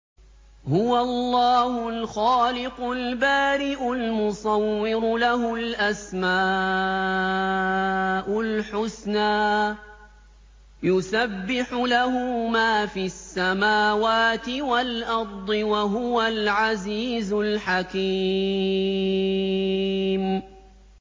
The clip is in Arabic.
هُوَ اللَّهُ الْخَالِقُ الْبَارِئُ الْمُصَوِّرُ ۖ لَهُ الْأَسْمَاءُ الْحُسْنَىٰ ۚ يُسَبِّحُ لَهُ مَا فِي السَّمَاوَاتِ وَالْأَرْضِ ۖ وَهُوَ الْعَزِيزُ الْحَكِيمُ